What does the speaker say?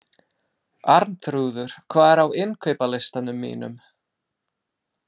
Arnþrúður, hvað er á innkaupalistanum mínum?